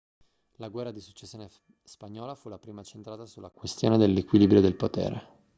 la guerra di successione spagnola fu la prima centrata sulla questione dell'equilibrio del potere